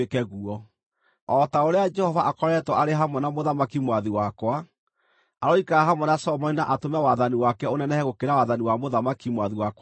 O ta ũrĩa Jehova akoretwo arĩ hamwe na mũthamaki mwathi wakwa, aroikara hamwe na Solomoni na atũme wathani wake ũnenehe gũkĩra wathani wa mũthamaki mwathi wakwa Daudi!”